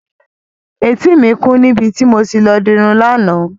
Etí mi kún níbi tí mo ti lọ dirun lánàá.